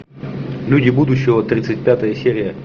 люди будущего тридцать пятая серия